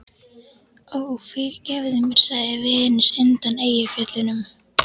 Ó, fyrirgefðu mér, sagði Venus undan Eyjafjöllum.